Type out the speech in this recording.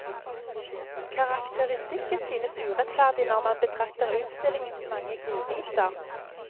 Karakteristikken synes urettferdig når man betrakter utstillingens mange godbiter.